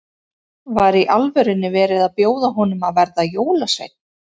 Var í alvörunni verið að bjóða honum að verða jólasveinn?